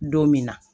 Don min na